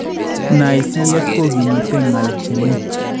Naisiet kokiimite ng�al chemi